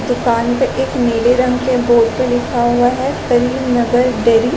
दुकान पे एक नीले रंग के बोर्ड पे लिखा हुआ है करीम नगर डेरी --